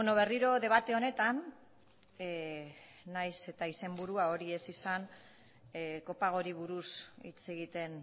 berriro debate honetan nahiz eta izenburua hori ez izan kopagori buruz hitz egiten